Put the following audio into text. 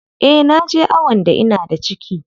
Eh naje awon da ina da ciki.